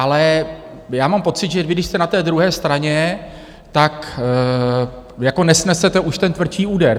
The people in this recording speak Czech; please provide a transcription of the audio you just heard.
Ale já mám pocit, že vy když jste na té druhé straně, tak jako nesnesete už ten tvrdší úder.